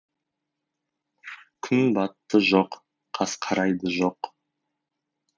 күн батты жоқ қас қарайды жоқ